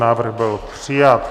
Návrh byl přijat.